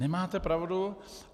Nemáte pravdu.